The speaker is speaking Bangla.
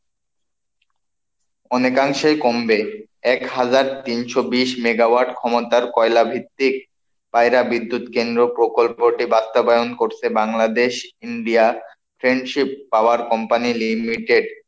অনেকাংশেই কমবে, এক হাজার তিনশো-বিশ মেগাওয়াট ক্ষমতার কয়লা ভিত্তিক পায়রা বিদ্যুৎ কেন্দ্র প্রকল্পটি বাস্তবায়ন করছে Bangladesh India Friendship Power Company Limited,